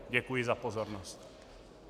Děkuji za pozornost.